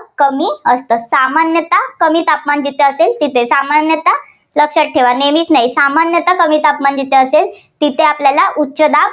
कमी असतं. सामान्यता कमी तापमान जिथे असल तिथ सामान्यता लक्षात ठेवा. नेहमी सामान्यता कमी तापमान जिथं असेल तिथं आपल्याला उच्चदाब